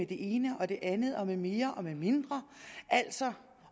det ene og det andet og med mere og med mindre altså